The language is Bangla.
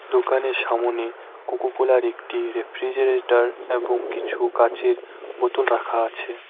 দোকানের সামোনে কোকোকোলার -এর একটি রেফ্রিজারেটর এবং কিছু কাঁচের বোতল রাখা আছে।